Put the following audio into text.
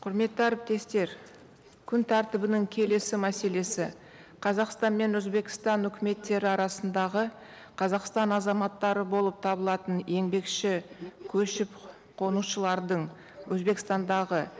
құрметті әріптестер күн тәртібінің келесі мәселесі қазақстан мен өзбекстан өкіметтері арасындағы қазақстан азаматтары болып табылатын еңбекші көшіп қонушылардың өзбекстандағы